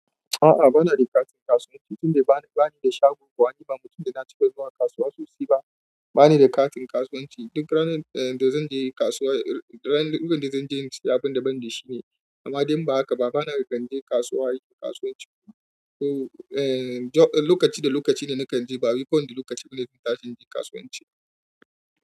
A'a bana da katin kasuwanci tun dai bani da shago, domin ba mutum da na cika zuwa kasuwa sosai ba. Bana da katin kasuwanci duk ranar da zanje kasuwa, lokacin da zanje sayi abinda ban da shi ne. Amma dai in ba haka ba, bana kan je kasuwa yi kasuwanci. Lokaci da lokaci da nakan je ba wai ku wane lokaci bane da zan tashi in yi kasuwanci.